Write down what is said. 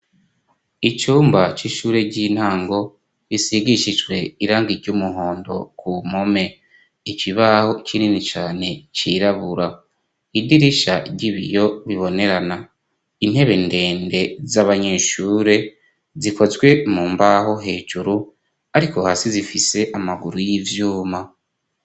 Icumba c'ishure ry'intango gisigishijwe irangi ry'umuhondo ku mpome, ikibaho kinini cane cirabura, idirisha ry'ibiyo bibonerana, intebe ndende z'abanyeshure zikozwe mu mbaho hejuru, ariko hasi zifise amaguru y'ivyuma.